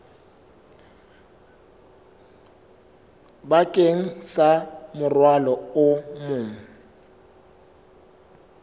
bakeng sa morwalo o mong